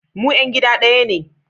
Mu ‘yan gida daya ne